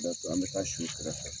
an be taa si i kɛrɛfɛ .